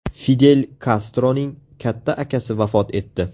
Fidel Kastroning katta akasi vafot etdi.